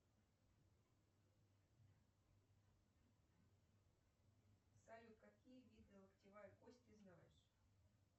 салют какие виды локтевая кость ты знаешь